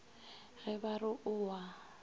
ge ba re o a